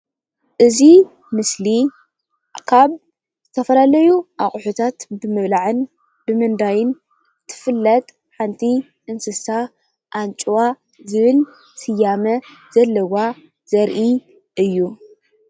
እዚ ምስሊ ካብ ዝተፈላለዩ አቁሑታት ብምብላዕን ብምንዳይን ትፍለጥ ሓንቲ እንስሳ አንጭዋ ዝብል ስያመ ዘለዎ ዘሪኢ እዩ፡፡